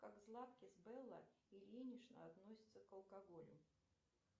как златкис белла ильинична относится к алкоголю